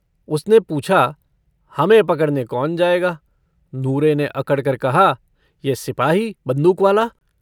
उसने पूछा - हमें पकड़ने कौन जायेगा? नूरे ने अकड़कर कहा - यह सिपाही बन्दूक वाला।